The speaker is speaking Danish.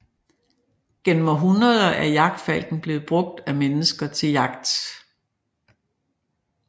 Gennem århundreder er jagtfalken blevet brugt af mennesker til jagt